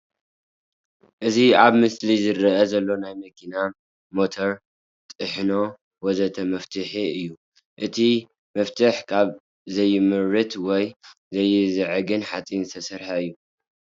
እዚ ኣብ ምስሊ ዝረኣይ ዘሎ ናይ መኪና፥ ሞተር፥ ጥሕኖ ወዘተ መፍቱሕ እዩእቲ መፍቱሕ ካብ ዘይምርት ወይ ዝአይዝዕግ ሓጺን ዝተሰርሐ እዩ